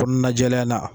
Kɔnɔna jɛlenya in na